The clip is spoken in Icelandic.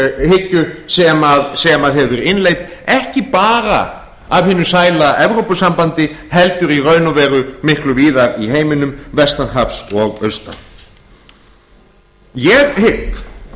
ofurmarkaðshyggju sem hefur verið innleidd ekki bara af hinu sæla evrópusambandi heldur í raun og veru miklu víðar í heiminum vestan hafs og austan ég hygg